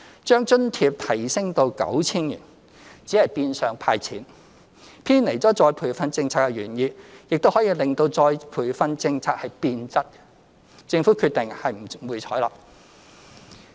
將津貼提升至 9,000 元只是變相"派錢"，偏離了再培訓政策的原意，亦可致再培訓政策變質，政府決定不會採納。